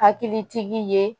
Hakilitigi ye